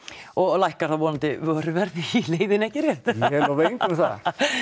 og lækkar þá vonandi vöruverðið í leiðinni ekki rétt ég lofa engu um það